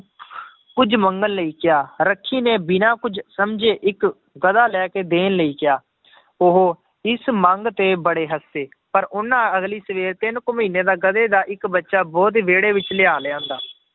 ਕੁੱਝ ਮੰਗਣ ਲਈ ਕਿਹਾ, ਰੱਖੀ ਨੇ ਬਿਨਾਂ ਕੁੱਝ ਸਮਝੇ ਇੱਕ ਗਧਾ ਲੈ ਕੇ ਦੇਣ ਲਈ ਕਿਹਾ ਉਹ ਇਸ ਮੰਗ ਤੇ ਬੜੇ ਹੱਸੇ, ਪਰ ਉਹਨਾਂ ਅਗਲੀ ਸਵੇਰ ਤਿੰਨ ਕੁ ਮਹੀਨੇ ਦਾ ਗਧੇ ਦਾ ਇੱਕ ਬੱਚਾ ਉਹਦੇ ਵਿਹੜੇ ਵਿੱਚ ਲਿਆ ਲਿਆਂਦਾ